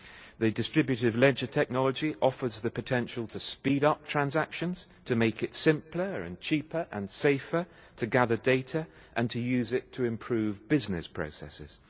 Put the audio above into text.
The distributive ledger technology offers the potential to speed up transactions, to make it simpler and cheaper and safer to gather data and to use it to improve business processes.